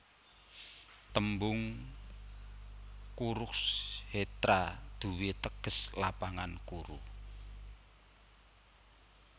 Tembung Kurukshetra duwé teges Lapangan Kuru